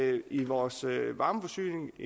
el i vores varmeforsyning